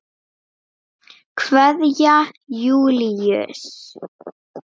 Kveðja, Júlíus.